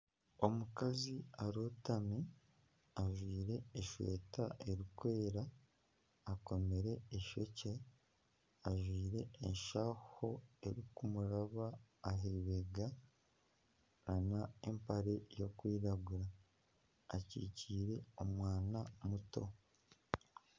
Omukazi arotami ajwire eshweta erikwera, akomire eishokye ajwire enshaho erikumuraba ah'eibega, nana empare y'okwiragura, akyikiire omwana muto